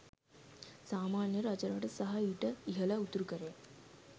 සාමාන්‍යයෙන් රජරට සහ ඊට ඉහළ උතුරුකරයේ